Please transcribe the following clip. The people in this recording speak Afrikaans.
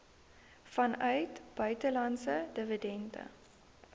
vanuit buitelandse dividende